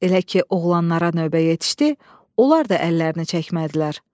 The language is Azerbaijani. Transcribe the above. Elə ki oğlanlara növbə yetişdi, onlar da əllərini çəkmədilər.